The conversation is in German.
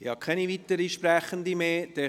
Ich habe keine weiteren Sprecher auf der Liste.